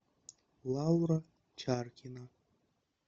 лаура чаркина